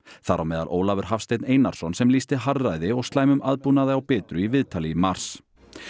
þar á meðal Ólafur Hafsteinn Einarsson sem lýsti harðræði og slæmum aðbúnaði á Bitru í viðtali í mars